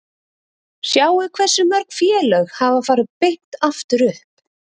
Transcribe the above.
Sjáið hversu mörg félög hafa farið beint aftur upp?